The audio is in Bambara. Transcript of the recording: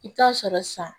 I bɛ taa sɔrɔ san